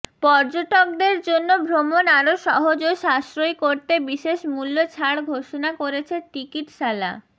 পর্যটকদের জন্য ভ্রমণ আরও সহজ ও সাশ্রয়ী করতে বিশেষ মূল্যছাড় ঘোষণা করেছে টিকেটশালা